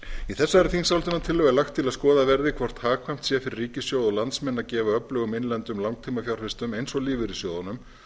í þessari þingsályktunartillögu er lagt til að skoðað verði hvort hagkvæmt sé fyrir ríkissjóð og landsmenn að gefa öflugum innlendum langtímafjárfestum eins og lífeyrissjóðunum